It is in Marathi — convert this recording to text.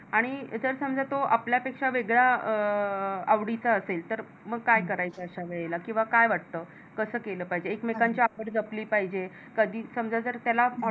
आणि जर समजा तो आपलापेक्षा वेगळा अं आवडीचा असेल तर मग काय करायचं अशा वेळीला किंवा काय वाटत? कस केल पाहिजे? एकमेकांची आवड जपली पाहिजे कधी समजा त्याला